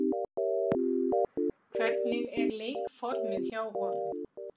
Hvernig er leikformið hjá honum?